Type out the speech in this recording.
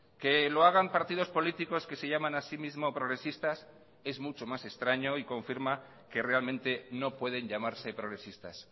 que lo hagan partidos políticos que se llaman asimismo progresistas es mucho más extraño y confirma que realmente no pueden llamarse progresistas